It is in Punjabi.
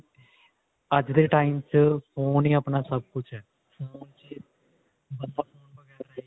ਅੱਜ ਦੇ time ਵਿੱਚ phone ਹੀ ਆਪਣਾ ਸੱਬ ਕੁੱਝ ਹੈ